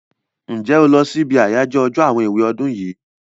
Ǹjẹ́ o lọ sí ibi àyájọ́ àwọn èwe ọdún yìí?